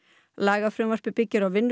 lagafrumvarpið byggir á vinnu